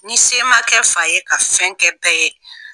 Ni se ma kɛ fa ye ka fɛn kɛ bɛɛ ye